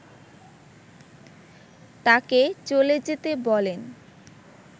তাকে চলে যেতে বলেন